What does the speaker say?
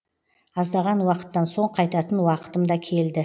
аздаған уақыттан соң қайтатын уақытым да келді